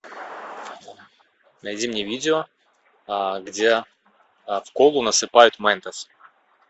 найди мне видео где в колу насыпают мэнтос